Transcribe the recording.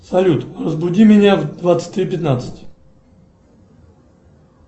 салют разбуди меня в двадцать три пятнадцать